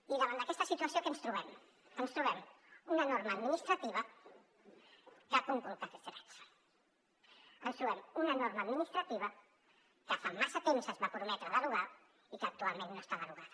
i davant d’aquesta situació què ens trobem ens trobem una norma administrativa que conculca aquests drets ens trobem una norma administrativa que fa massa temps es va prometre derogar i que actualment no està derogada